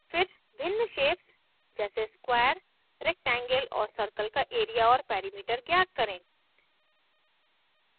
फिर भिन्न shapes जैसे square rectangle और circle का area और perimeter ज्ञात करें